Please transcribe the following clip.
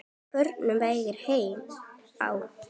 Á förnum vegi heima á